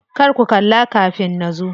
Kar ku kalla kafin nazo.